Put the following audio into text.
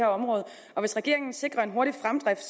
her område og hvis regeringen sikrer en hurtig fremdrift